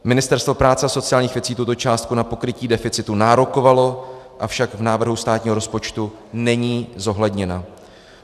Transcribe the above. Ministerstvo práce a sociálních věcí tuto částku na pokrytí deficitu nárokovalo, avšak v návrhu státního rozpočtu není zohledněna.